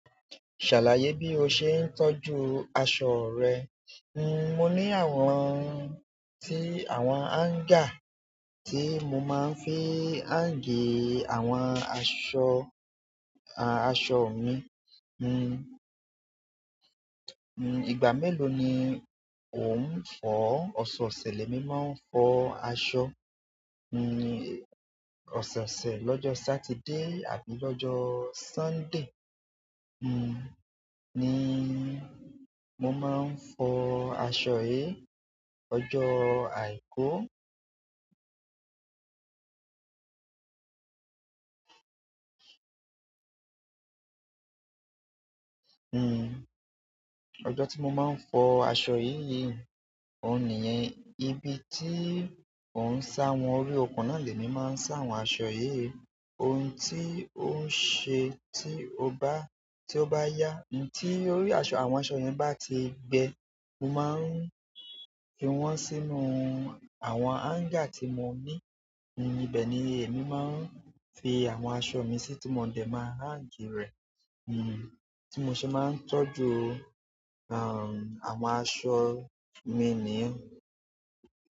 Ṣàlàyé bí o ṣe ń tọ́jú aṣọ rẹ. Hmm, mo ní àwọn ti àwọn hanger tí mo máa ń fi hang àwọn aṣọ, a, aṣọ mi. Hmm, hmm, ìgbà mélòó ni o ń fọ? Ọ̀sẹ̀-ọ̀sẹ̀ lèmi máa ń fọ aṣọ. Hmm, ọ̀sẹ̀-ọ̀sẹ̀ lọ́jọ́ Saturday àbí lọ́jọ́ Sunday, hmm, ni mo máa ń fọ aṣọ yìí. Ọjọ́ àìkú, hmm, ọjọ́ tí mo máa ń fọ aṣọ yìí, òun nìyẹn. Ibi tí n òun ń sá àwọn, orí ọkùn nà lèmi máa ń sá àwọn aṣọ yìí. Ohun tí ó ń ṣe tí ó bá, tí ó bá yá, ohun tí orí aṣọ àwọn aṣọ yẹn bá ti gbẹ, mo máa ń fi wọ́n sínú àwọn hanger tí mo ní. Hmm, ibẹ̀ ni èmi máa ń fi àwọn aṣọ mi sí tó mọ dẹ̀ máa hang rẹ̀. Hmm, tí mo ṣe máa ń tọ́jú, um, àwọn aṣọ mi ni i.